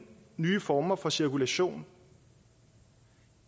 nye former for cirkulation